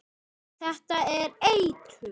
Þetta er eitur.